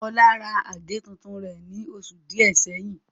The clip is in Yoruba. Olá ra àgé tuntun rẹ̀ ní oṣù díẹ̀ sẹ́yìn